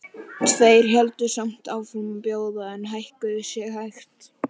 Tveir héldu samt áfram að bjóða en hækkuðu sig hægt.